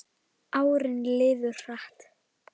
Árin liðu hratt.